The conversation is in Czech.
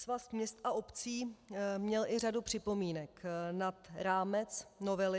Svaz měst a obcí měl i řadu připomínek nad rámec novely.